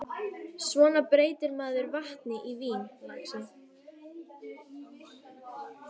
Svona breytir maður vatni í vín, lagsi.